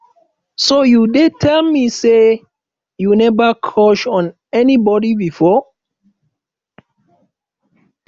so you dey tell me say you never crush on anybody before